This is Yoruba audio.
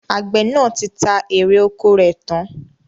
Àgbẹ̀ náà ti ta èrè ọkọ rẹ̀ tán